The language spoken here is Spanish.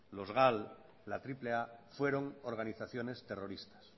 los gal la triple a fueron organizaciones terroristas